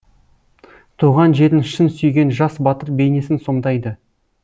туған жерін шын сүйген жас батыр бейнесін сомдайды